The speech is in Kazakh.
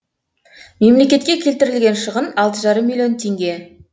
мемлекетке келтірілген шығын алты жарым миллион теңге